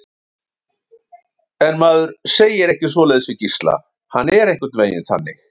En maður segir ekki svoleiðis við hann Gísla, hann er einhvern veginn þannig.